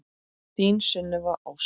Þín Sunneva Ósk.